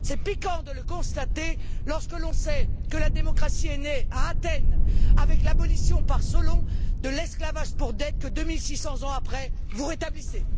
C'est pis encore de le constater, lorsque l'on sait que la démocratie est née à Athènes avec l'abolition par Solon de l'esclavage pour dettes que, 2600 ans après, vous rétablissez!